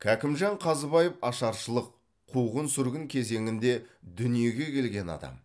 кәкімжан қазыбаев ашаршылық қуғын сүргін кезеңінде дүниеге келген адам